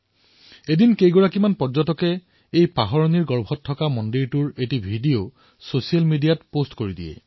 এদিন কিছু পৰ্যটকে পাহৰণিৰ সোঁতত জাহ যোৱা এই মন্দিৰৰ এক ভিডিঅ ছচিয়েল মিডিয়াত আপলোড কৰি দিলে